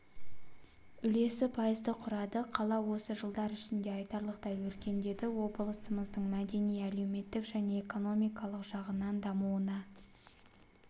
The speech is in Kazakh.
үлесі пайызды құрады қала осы жылдар ішінде айтарлықтай өркендеді облысымыздың мәдени-әлеуметтік және экономикалық жағынан дамуына